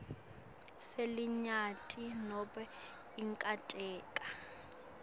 selinyenti nobe inkontileka